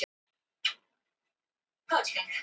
Ég les ekki blöðin og ég tek sögusögnum ekki alvarlega.